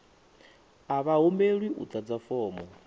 a vha humbelwi u ḓadza fomo